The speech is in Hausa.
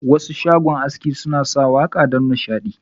Wasu shago haski suna sa waka don nishadi.